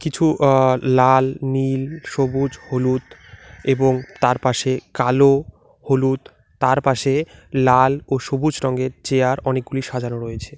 কিছু আঃ লাল নীল সবুজ হলুদ এবং তার পাশে কালো হলুদ তার পাশে লাল ও সবুজ রঙের চেয়ার অনেকগুলি সাজানো রয়েছে।